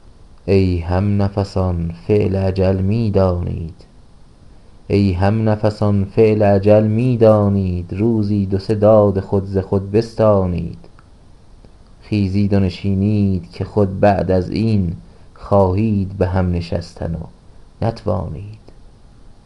ای هم نفسان فعل اجل میدانید روزی دو سه داد خود ز خود بستانید خیزید و نشینید که خود بعد از این خواهید به هم نشستن ونتوانید